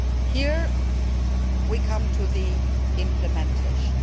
Here we come to the implementation.